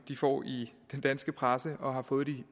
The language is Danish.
de får i den danske presse og har fået i